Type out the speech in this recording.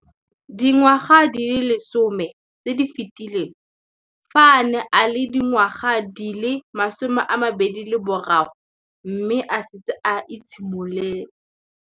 Dingwaga di le 10 tse di fetileng, fa a ne a le dingwaga di le 23 mme a setse a itshimoletse